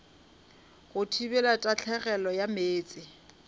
go thibela tahlegelo ya meetse